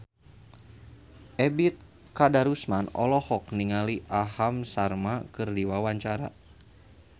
Ebet Kadarusman olohok ningali Aham Sharma keur diwawancara